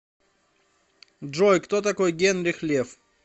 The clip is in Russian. джой кто такой генрих лев